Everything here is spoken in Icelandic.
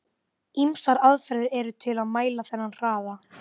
Ýmsar aðferðir eru til að mæla þennan hraða.